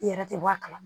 I yɛrɛ tɛ bɔ a kalama